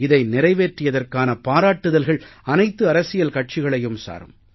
இதை நிறைவேற்றியதற்கான பாராட்டுதல்கள் அனைத்து அரசியல் கட்சிகளையும் சாரும்